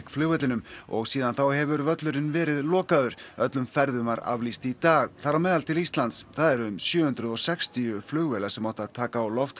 flugvellinum og síðan þá hefur völlurinn verið lokaður öllum ferðum var aflýst í dag þar á meðal til Íslands það eru um sjö hundruð og sextíu flugvélar sem áttu að taka á loft